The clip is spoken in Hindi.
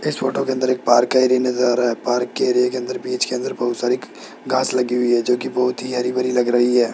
इस फोटो के अंदर एक पार्क का एरिया नजर आ रहा है पार्क के एरिये अंदर बीच के अंदर बहुत सारी घास लगी हुई है जो की बहुत ही हरी-भरी लग रही है।